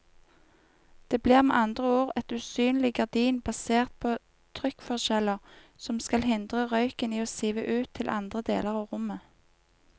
Det blir med andre ord et usynlig gardin basert på trykkforskjeller som skal hindre røyken i å sive ut til andre deler av rommet.